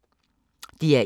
DR1